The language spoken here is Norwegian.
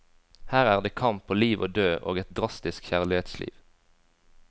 Her er det kamp på liv og død og et drastisk kjærlighetsliv.